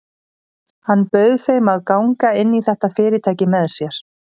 Hann bauð þeim að ganga inn í þetta fyrirtæki með sér.